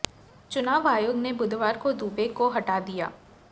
चुनाव आयोग ने बुधवार को दुबे को हटा दिया